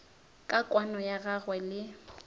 ka kwano ya gagwe le